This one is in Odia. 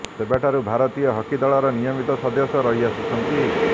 ସେବେଠାରୁ ଭାରତୀୟ ହକି ଦଳର ନିୟମିତ ସଦସ୍ୟ ରହି ଆସିଛନ୍ତି